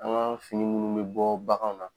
An ŋa fini munnu be bɔ baganw na